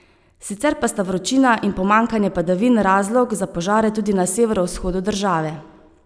Sicer pa sta vročina in pomanjkanje padavin razlog za požare tudi na severovzhodu države.